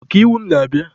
Ọka iwu m na-abịa.